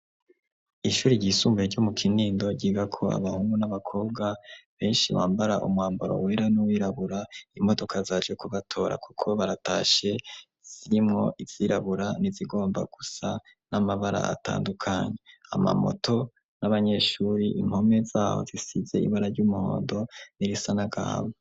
ishuri ry'isumbuye ryo mu kinindo giga ko abahungu n'abakobwa benshi bambara umwambaro wera n'uwirabura imodoka zaje kubatora kuko baratashe ziimwo izirabura ni zigomba gusa n'amabara atandukanye ama moto n'abanyeshuri inkome zaho zisize ibara ry'umuhondo n'irisa n'agahama.